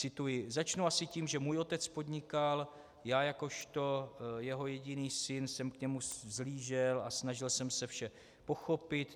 Cituji: "Začnu asi tím, že můj otec podnikal, já jakožto jeho jediný syn jsem k němu vzhlížel a snažil jsem se vše pochopit.